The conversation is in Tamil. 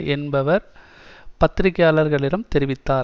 என்பவர் பத்திரிகையாளர்களிடம் தெரிவித்தார்